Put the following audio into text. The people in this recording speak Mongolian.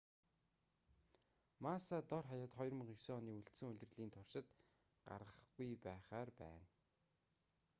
масса дор хаяад 2009 оны үлдсэн улирлын туршид гарахгүй байхаар байна